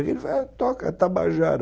Ele falou, toca, Tabajara.